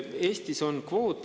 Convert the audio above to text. Eestis on kvoot.